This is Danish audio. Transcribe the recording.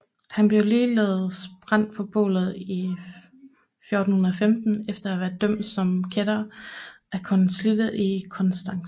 Han blev ligeledes brændt på bålet i 1415 efter at være blevet dømt som kætter af konsilet i Konstanz